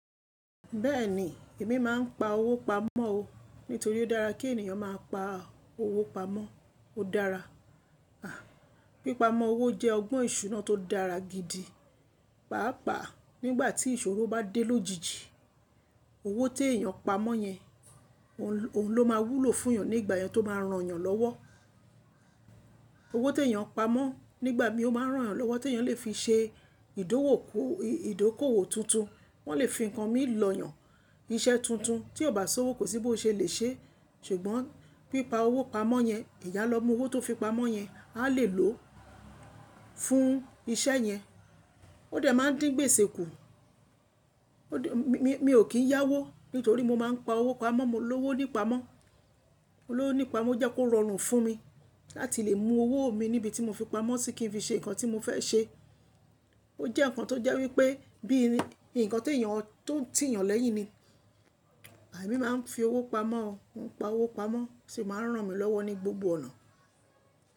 Bẹ́ẹ̀ni, èmi máa ń pa owó pamọ́ o. Nítorí ó dára kí ènìyàn máa pa owó pamọ́. Ó dára. Pípamọ́ owó jẹ́ ọgbọ́n ìṣúná tó dára gidi. Páápàá nígbà tí ìṣòro bá dé lójijì, owó tí èèyàn pa mọ́ yẹn òun ló máa wúlò fún èèyàn nígbà yẹn tó máa ń ran èèyàn lọ́wọ́. Owó tí èèyàn pa mọ́ nígbà míì ó bá ń ran èèyàn lọ́wọ́, tí èèyàn lè fi ṣe ìdókòwò tuntun, wọn lè fi ń kan mí lọ́yan. Iṣẹ́ tuntun tí ó bá s'òwò kò sí bó ṣe lè ṣé, ṣùgbọ́n pípa owó pamọ́ yẹn, ẹ̀yàn á lọ mú owó tó fi pamọ́ yẹn, a lè lòó fún iṣẹ́ yẹn. Ó dẹ̀ máa ń dí gbèsè kù. Mi ò kí ń yáwó nítorí mo máa ń pa owó pamọ́, mo lówó nípamọ́. Mo lówó nípamọ́ ó jẹ́ kó rọrùn fún mi láti lè mú owó mi níbi tí mo fi pamọ́ sí kín fi ṣe nǹkan tí mo fẹ́ ṣe. Ó jẹ́ nǹkan tó jẹ́ wípé bí i nǹkan tó ti èèyàn lẹ́yìn ni. Èmi máa ń fi owó pamọ́ o. Mo ń pa owó pamọ́, ó sì máa ń ràn mí lọ́wọ́ ní gbogbo ọ̀nà?